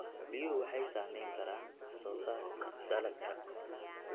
Biyuhu waxay saamayn karaan wax soo saarka dalagga.